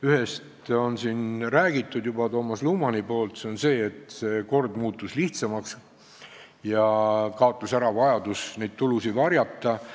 Ühest on siin juba rääkinud Toomas Luman, nimelt, see kord muutus lihtsamaks ja kadus ära vajadus neid tulusid varjata.